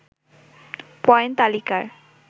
point তালিকার